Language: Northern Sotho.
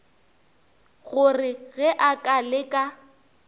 gore ge a ka leka